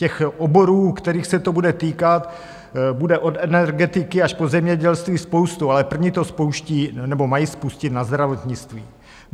Těch oborů, kterých se to bude týkat, bude od energetiky až po zemědělství spousta, ale první to spouští nebo mají spustit na zdravotnictví.